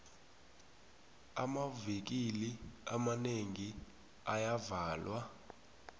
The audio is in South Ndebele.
amavikili amanengi ayavalwa